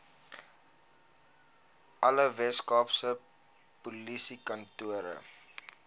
alle weskaapse polisiekantore